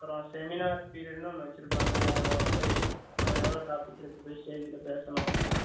அப்புறம் seminar period ன்னு ஒன்னு வச்சி இருக்காங்க நம்ம போய் எதாவது ஒரு topic எடுத்துட்டு போய் stage ல பேசணும்.